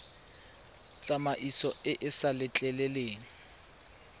tsamaiso e e sa letleleleng